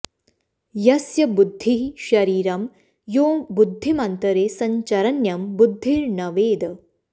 यस्य बुद्धिः शरीरं यो बुद्धिमन्तरे संचरन्यं बुद्धिर्न वेद